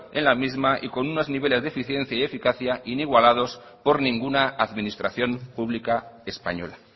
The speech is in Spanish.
en la misma y con unos niveles de eficiencia y de eficacia inigualados por ninguna administración pública española